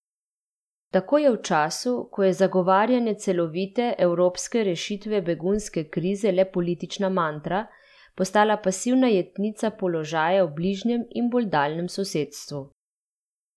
Tako je v času, ko je zagovarjanje celovite, evropske rešitve begunske krize le politična mantra, postala pasivna jetnica položaja v bližnjem in bolj daljnem sosedstvu.